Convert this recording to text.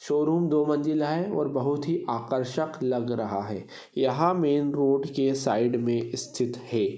Showroom दो मंजिला है और बहुत ही आकर्षक लग रहा है यहाँ मेन रोड के साइड में स्थित है।